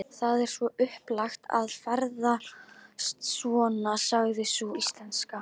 Það er svo upplagt að ferðast svona, sagði sú íslenska.